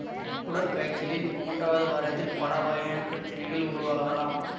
குடற்காய்ச்சலின் மூன்றாவது வாரத்தில் பல வகையான பிரச்சனைகள் உருவாகலாம்